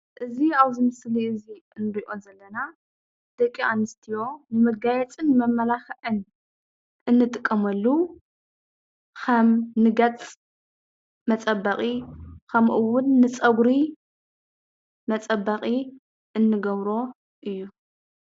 እዚ ኣብ እዚ ምስሊ እዚ ኣብ ንርኦ ዘለና ደቂ ኣንስትዮ ንመጋየፂ ንመማላክዕን እንጥቀመሉ ከም ንገፅ መፀበቂ ከምኡ እውን ንፀግሪ መፀበቂ እንገብሮ እዩ።